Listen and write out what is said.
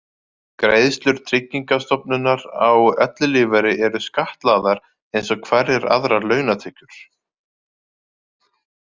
Greiðslur Tryggingastofnunar á ellilífeyri eru skattlagðar eins og hverjar aðrar launatekjur.